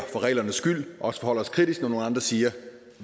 for reglernes skyld men også forholder os kritisk når nogle andre siger at